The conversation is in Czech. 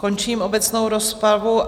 Končím obecnou rozpravu.